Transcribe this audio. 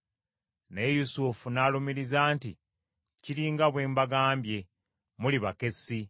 Naye Yusufu n’alumiriza nti, “Kiri nga bwe mbagambye, muli bakessi.